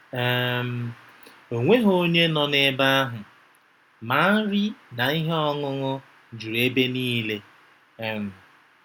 um O nweghị onye nọ n’ebe ahụ, ma nri na ihe ọṅụṅụ juru ebe niile. um